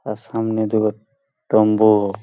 ওর সামনে দুটো টম্বুউর।